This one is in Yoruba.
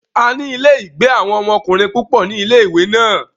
A ní ilé-ìgbé àwọn ọmọkùnrin púpọ̀ ní ilé-ìwé náà.